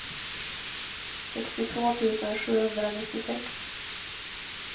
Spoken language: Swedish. sextiotvå tusen sjuhundranittiosex